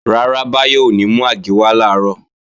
Rárá, Báyọ̀ ò ní mú àgé wá làárọ̀